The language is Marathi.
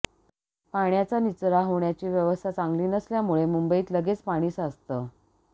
पाण्याचा निचरा होण्याची व्यवस्था चांगली नसल्यामुळं मुंबईत लगेच पाणी साचतं